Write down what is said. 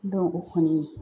o kɔni